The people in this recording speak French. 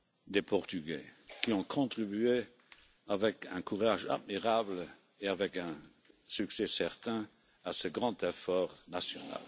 des Portugais qui ont contribué avec un courage admirable et avec un succès certain à ce grand effort national.